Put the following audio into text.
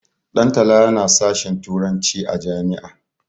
Dantala yana sashin turanci a jami'a.